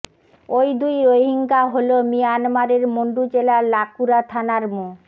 ওই দুই রোহিঙ্গা হলো মিয়ানমারের মণ্ডু জেলার লাকুরা থানার মো